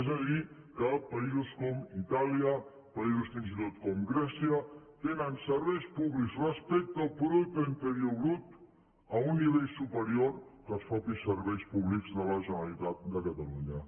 és a dir que països com itàlia països fins i tot com grècia tenen serveis públics respecte al producte interior brut a un nivell superior que els mateixos serveis públics de la generalitat de catalunya